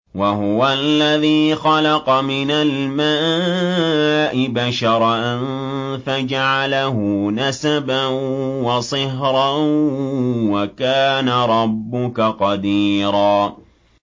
وَهُوَ الَّذِي خَلَقَ مِنَ الْمَاءِ بَشَرًا فَجَعَلَهُ نَسَبًا وَصِهْرًا ۗ وَكَانَ رَبُّكَ قَدِيرًا